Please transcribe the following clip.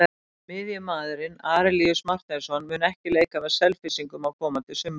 Miðjumaðurinn Arilíus Marteinsson mun ekki leika með Selfyssingum á komandi sumri.